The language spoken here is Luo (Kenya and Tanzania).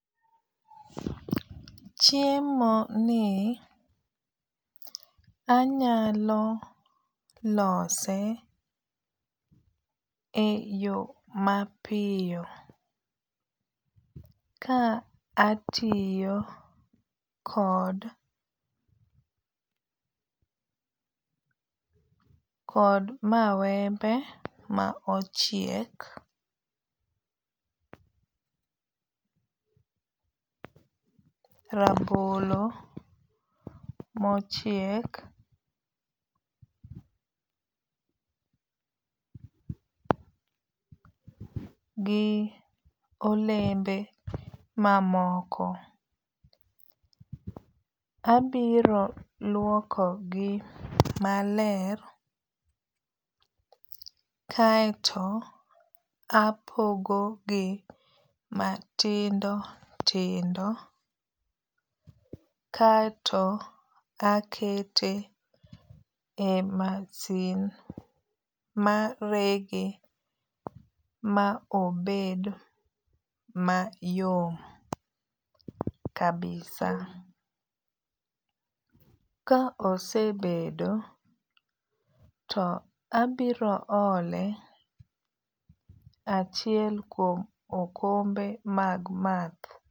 Chiemo ni anyalo lose e yo mapiyo ka atiyo kod kod mawembe ma ochiek, rabolo mochiek, gi olembe mamoko. Abiro lwoko gi maler kaeto apogo gi matindo tindo kaeto akete e masin marege ma obed mayom kabisa. Ka osebedo to abiro ole achiel kuom okombe mag math.